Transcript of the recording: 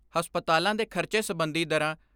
ਹਸਪਤਾਲਾਂ ਦੇ ਖਰਚੇ ਸਬੰਧੀ ਦਰਾਂ ਡਾ.